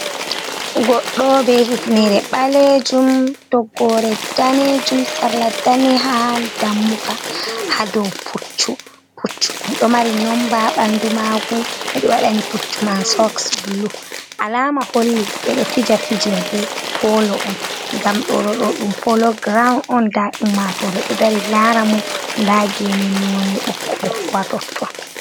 Goɗɗo be hifnere ɓalejum toggore danejum, sarla ɗaneha dammuwa, ha dow pucchu ɗo mari nomba ɓanɗu magu, ɓeɗo waɗa ni pucchu man soks blu, alama holli ɓeɗo fija fijerde polo on ngam ɗo, ɗo ɗo ɗum polo ground on, nda ummatoje ɗo dari lara mo, nda gene none ɓokko ɓokko ha totton.